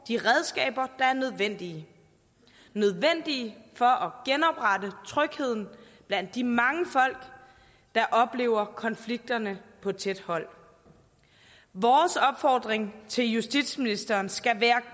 de redskaber der er nødvendige nødvendige for at genoprette trygheden blandt de mange folk der oplever konflikterne på tæt hold vores opfordring til justitsministeren skal være